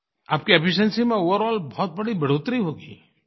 आपकी एफिशिएंसी में ओवरॉल बहुत बड़ी बढ़ोतरी होगी